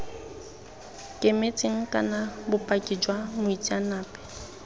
kemetseng kana bopaki jwa moitseanape